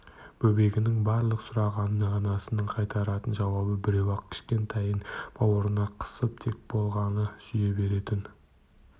бөбегінің барлық сұрауына анасының қайтаратын жауабы біреу-ақ кішкентайын бауырына қысып тек болғаны сүйе беретін